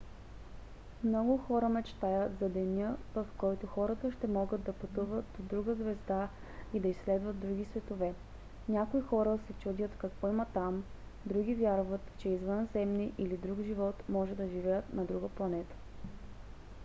много хора мечтаят за деня в който хората ще могат да пътуват до друга звезда и да изследват други светове. някои хора се чудят какво има там други вярват че извънземни или друг живот може да живеят на друга планета